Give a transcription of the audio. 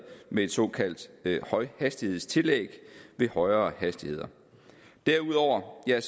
med et såkaldt højhastighedstillæg ved højere hastigheder derudover er